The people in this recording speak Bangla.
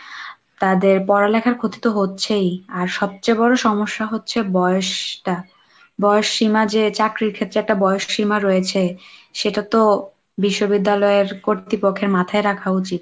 তাদের পড়ালেখার ক্ষতি তো হচ্ছেই আর সবচেয়ে বড় সমস্যা হচ্ছে বয়সটা, বয়স সীমা যে চাকরির ক্ষেত্রে একটা বয়স সীমা রয়েছে সেটা তো বিশ্ববিদ্যালয়ের কর্তৃপক্ষের মাথায় রাখা উচিত।